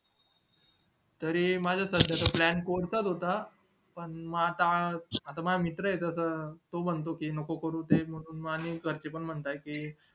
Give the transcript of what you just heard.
तरी माझा सध्या चा plan socre चा च होता पण आता माझा मित्र ये तस तो म्हणतो कि नको करू ते आणि घरचे पण म्हणत्यात